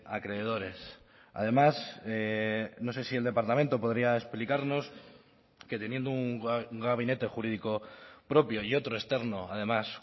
acreedores además no sé si el departamento podría explicarnos que teniendo un gabinete jurídico propio y otro externo además